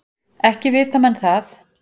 Ekki vita menn það.